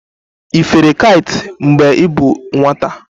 Ị fere kait mgbe ị bụ nwata?